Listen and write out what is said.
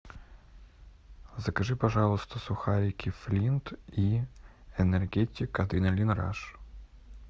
закажи пожалуйста сухарики флинт и энергетик адреналин раш